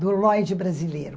Do Lloyd brasileiro.